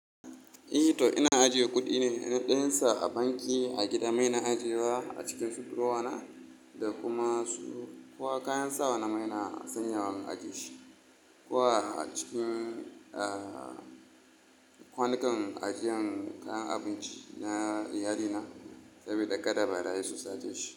I to ina ajiye kuɗi ne na ɗansa a banki, a gida ma ina ajiyewa a cikin su buroda na da kuma su koh kayan sawa na ma ina sanyawa in ajiye shi. Ko a cikin, eh kwanukan ajiyan kayan abinci na iyali na saboda kada barayi su sace shi.